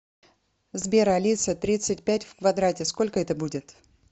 сбер алиса тридцать пять в квадрате сколько это будет